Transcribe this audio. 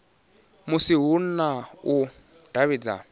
musi hu na u davhidzana